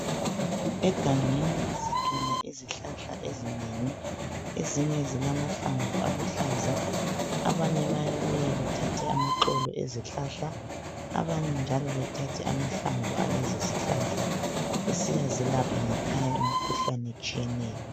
Egangeni sithola izihlahla ezinengi, ezinye zilamahlamvu aluhlaza. Abanye bayabuya bethathe amaxolo ezihlahla abanye njalo bethathe amahlamvu alezo zihlahla besiya zelapha ngekhaya imikhuhlane etshiyeneyo.